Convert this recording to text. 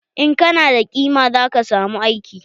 In kana da kima zaka samu aiki.